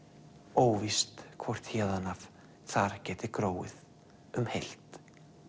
óvíst hvort héðan af þar geti gróið um heilt